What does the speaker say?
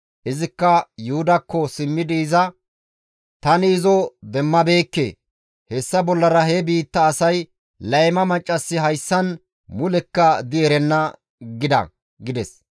Izikka Yuhudakko simmidi iza, «Tani izo demmabeekke; hessafekka bollara he biitta asay, ‹Layma maccassi hayssan mulekka di erenna› gida» gides.